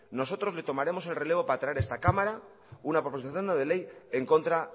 nosotros le tomaremos el relevo para traer a esta cámara una proposición no de ley en contra